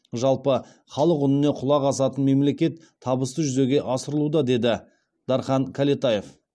жалпы халық үніне құлақ асатын мемлекет табысты жүзеге асырылуда деді дархан кәлетаев